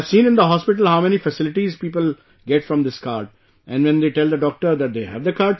I have seen in the hospital how many facilities people get from this card when they tell the doctor that they have the card